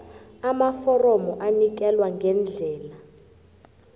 amaforomo anikelwa ngendlela